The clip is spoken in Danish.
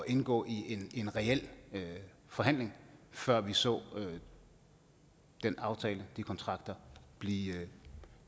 indgå i en reel forhandling før vi så den aftale og de kontrakter blive